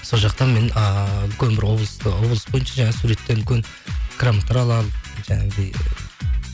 сол жақта мен ыыы үлкен бір облыс бойынша жаңа суреттен үлкен грамоталар аламын жаңағыдай